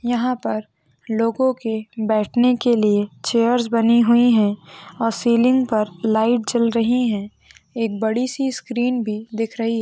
यहा पर लोगो के बैठने के लिए चेयर्स बनी हुई है और सीलिंग पर लाईट जल रही है। एक बड़ी सी स्क्रीन भी दिख रही--